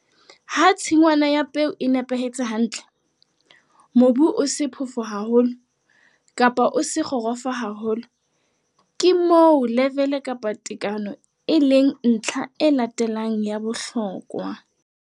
Ha tshingwana ya peo e nepahetse hantle, mobu o se phofo haholo kapa o se kgorofo haholo, ke moo levele kapa tekano e leng ntlha e latelang ya bohlokwa.